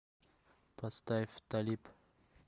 поставь талиб